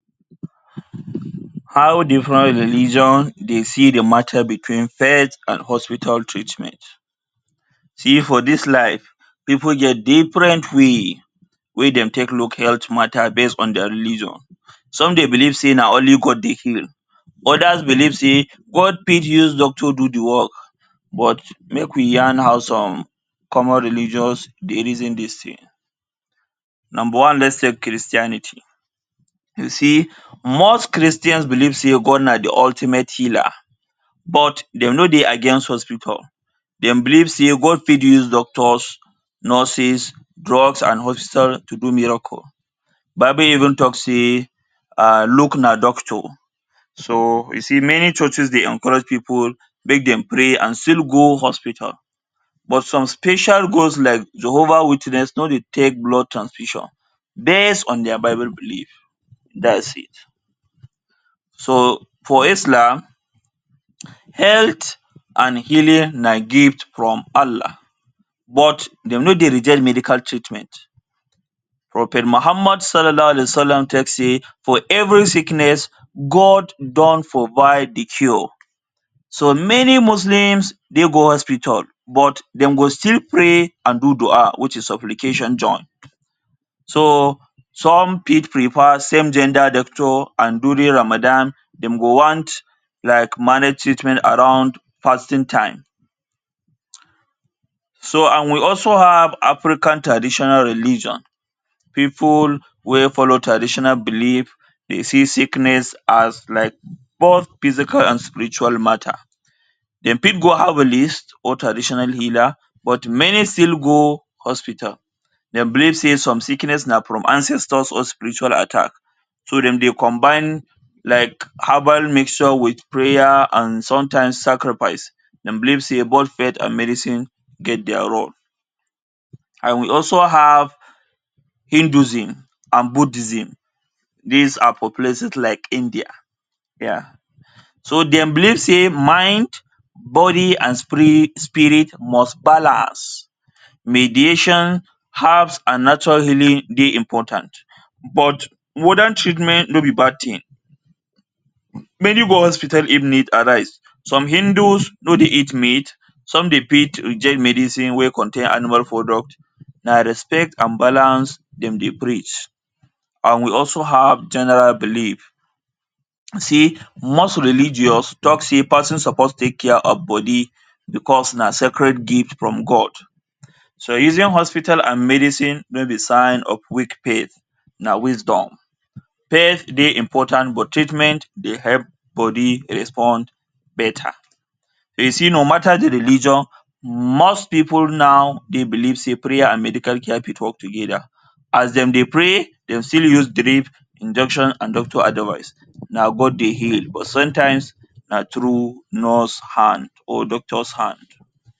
How different religion dey see de mata between faith and hospital treatment. See, for dis life, pipu get different way wey dem take look health mata base on dia religion. Some dey believe sey na only God dey heal. Others believe sey God fit use doctor do de work. But make we yarn how some common religions dey reason dis thing. Number one let’s take Christianity. You see, most Christians believe sey God na de ultimate healer, but dem no dey against hospital. Dem believe sey God fit use doctors, nurses, drugs and hospital to do miracle. Bible even talk sey Luke na doctor. So you see many churches dey encourage pipu make dem pray and still go hospital. But some special like Jehovah Witness no dey take blood transfusion, base on dia Bible belief. Dats it. So for Islam, health and healing na gift from Allah, but dem no dey reject medical treatment. Prophet Muhammad Sallallahu Alayhi Wassalam talk say for every sickness, God don provide de cure. So many Muslims dey go hospital, but dem go still pray and do du’a which is supplication join. So some fit prefer same gender doctor and during Ramadan dem go want like manage treatment around fasting time. So and we also have African traditional religion. Pipu wey follow traditional belief dey see sickness as like both physical and spiritual mata. Dem fit go herbalist ot traditional healer but many still go hospital. Dem believe say some sickness na from ancestors or spiritual attack, so dem dey combine like herbal mixture with prayer and sometimes sacrifice. Dem believe sey both faith and medicine get dia role. And we also have Hinduism and Buddhism. Dis are for places like India. So dem believe sey mind, body and sprit spirit must balance. Mediation, herbs and natural healing dey important, but modern treatment no be bad thing. Many go hospital if need arise. Some Hindus no dey eat meat, some dey fit reject medicine wey contain animal product, na respect and balance dem dey preach. And we also have general belief. See most religions talk say person suppose take care of body because na sacred gift from God. So using hospital and medicine no be sign of weak faith, na wisdom. Faith dey important but treatment dey help body respond beta. You see no matter de religion, most people now dey believe say prayer and medical care fit work together. As dem dey pray dem still use drip, injection and doctor advice. Na God dey heal but sometimes na through nurse hand or doctor’s hand.